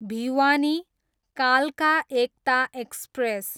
भिवानी, कालका एकता एक्सप्रेस